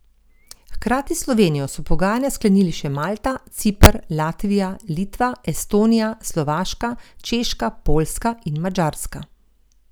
Hkrati s Slovenijo so pogajanja sklenili še Malta, Ciper, Latvija, Litva, Estonija, Slovaška, Češka, Poljska in Madžarska.